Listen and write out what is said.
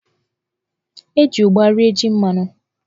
E ji ụgba rie jí mmanụ.